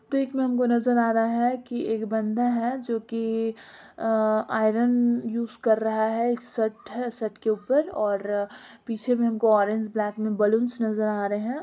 pick में हमको नजर आ रहा है की एक बंदा है जो की अ आयरन यूज़ कर रहा शर्ट है शर्ट के ऊपर और पीछे में ऑरेंज ब्लैक में बैलून्स नजर आ रहे --